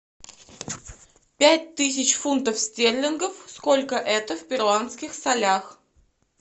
пять тысяч фунтов стерлингов сколько это в перуанских солях